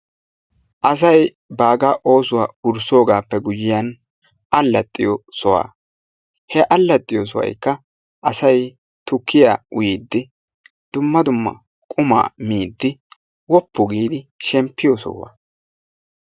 Asay baagaa oosuwa wurssoogaappe guyye baggan allaxxiyo soha. He allaxxiyo sohaykka asay tukkiya uyiiddi dumma dumma qumaa miiddi woppu giidi shemppiyo soho.